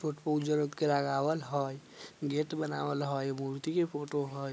लगावल हई गेट बनावल हई मूर्ति की फोटो हई।